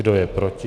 Kdo je proti?